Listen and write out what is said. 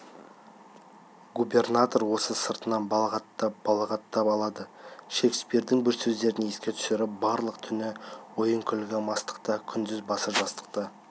губернатор оны сыртынан балағаттап-балағаттап алады шекспирдің бір сөздерін еске түсіріп барлық түні ойын-күлкі мастықта күндіз басы жастықта